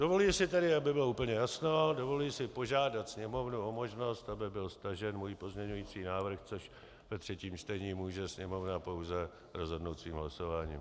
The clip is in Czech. Dovoluji si tedy, aby bylo úplně jasno, dovoluji si požádat Sněmovnu o možnost, aby byl stažen můj pozměňující návrh, což ve třetím čtení může Sněmovna pouze rozhodnout svým hlasováním.